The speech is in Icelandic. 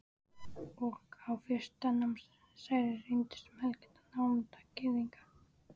Og á fyrsta námsári reyndist um helmingur nemenda Gyðingar.